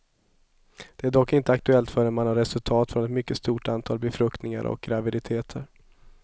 Det är dock inte aktuellt förrän man har resultat från ett mycket stort antal befruktningar och graviditeter.